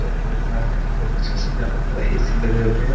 Shop लग रहा है बहुत अच्छा सजावट हुआ है ए.सी लगे हुए हैं।